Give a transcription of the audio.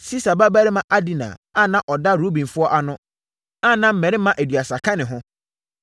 Sisa babarima Adina a na ɔda Rubenfoɔ ano, a na mmarima aduasa ka ne ho;